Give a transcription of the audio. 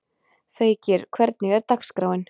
Feykir, hvernig er dagskráin?